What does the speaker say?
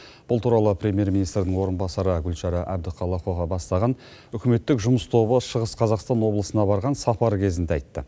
бұл туралы премьер министрінің орынбасары гүлшара әбдіқалықова бастаған үкіметтік жұмыс тобы шығыс қазақстан облысына барған сапары кезінде айтты